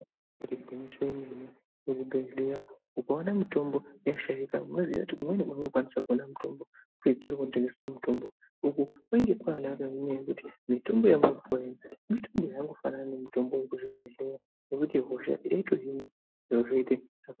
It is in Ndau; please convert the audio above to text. Igwinyiso remene ukaona kuchibhedhlera mitombo yashaikwa unoziva kuti kumweni kwaunokwanisa kuona mitombo kuzvitoro zvinotengesa mitombo uku kunenge kwakanaka ngekuti zvinoita ngekuti zvakangofanana nemitombo yemuzvibhedhlera inoto hosha ihinike zviro zvoita zvakanaka.